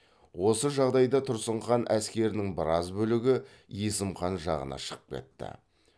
осы жағдайда тұрсын хан әскерінің біраз бөлігі есім хан жағына шығып кетті